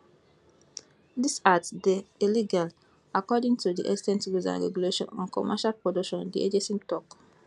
dis act dey illegal according to di extant rules and regulations on commercial production di agency tok